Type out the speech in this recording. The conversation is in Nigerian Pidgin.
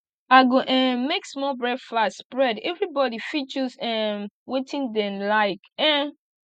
i go um make small breakfast spread everyone fit choose um wetin dem like um